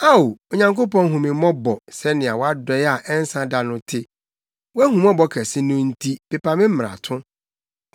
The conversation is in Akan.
Ao, Onyankopɔn hu me mmɔbɔ, sɛnea wʼadɔe a ɛnsa da no te; wʼahummɔbɔ kɛse no nti, pepa me mmarato.